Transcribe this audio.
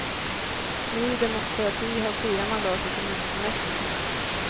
Ny demokrati har fyra mandat i kommunfullmäktige.